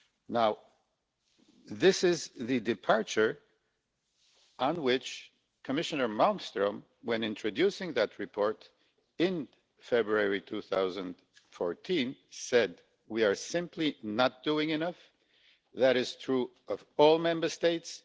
Now, this is the point of departure, on which Commissioner Malmström, when introducing that report in February 2014, said We are simply not doing enough. That is true of all Member States.